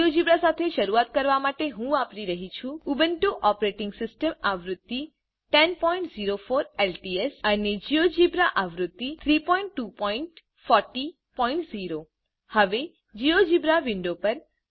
જીજોજીબ્રા સાથે શરૂઆત કરવા માટે હું વાપરી રહી છુ ઉબુન્ટુ ઓપરેટીંગ સીસ્ટમ આવૃત્તિ 1004 એલટીએસ અને જીઓજીબ્રા આવૃત્તિ 32400 હવે જીઓજીબ્રા વિન્ડો પર